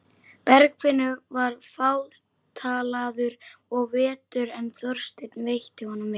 Bergfinnur var fátalaður of veturinn en Þorsteinn veitti honum vel.